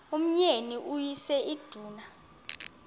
umyeni uyise iduna